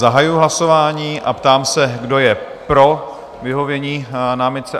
Zahajuji hlasování a ptám se, kdo je pro vyhovění námitce?